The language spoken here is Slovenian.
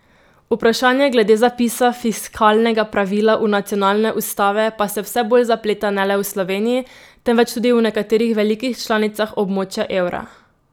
Vprašanje glede zapisa fiskalnega pravila v nacionalne ustave pa se vse bolj zapleta ne le v Sloveniji, temveč tudi v nekaterih velikih članicah območja evra.